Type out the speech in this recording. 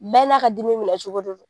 Bɛɛ n'a ka dimi minɛcogo don.